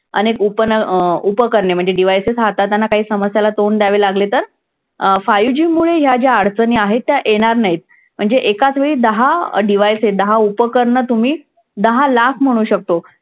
अनेक अं उपकरणे म्हणजे devices हाताळताना काही समस्यांना तोंड द्यावे लागले तर अं five G मुळे या ज्या अडचणी आहेत त्या येणार नाहीत. म्हणजे एकाचवेळी दहा devices दहा उपकरणं तुम्ही दहा लाख म्हणू शकतो.